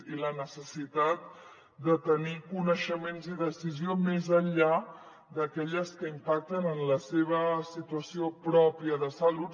i la necessitat de tenir coneixements i decisió més enllà d’aquells que impacten en la seva situació pròpia de salut